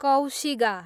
कौशिगा